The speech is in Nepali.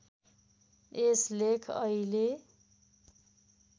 यस लेख अहिले